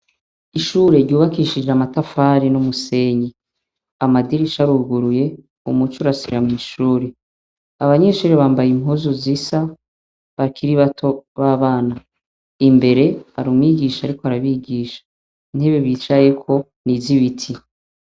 Ishure ryubakishije amatafari n'umusenyi amadirisha aruguruye umuce urasira mw'ishuri abanyeshuri bambaye impuzu zisa bakira i bato b'abana imbere ari umwigisha, ariko arabigisha intebe bicayeko niz ibiti.